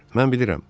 Mən bilirəm.